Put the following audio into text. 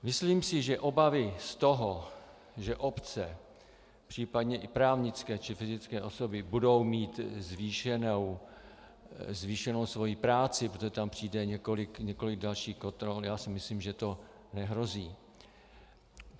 Myslím si, že obavy z toho, že obce, případně i právnické či fyzické osoby budou mít zvýšenou svoji práci, protože tam přijde několik dalších kontrol, já si myslím, že to nehrozí.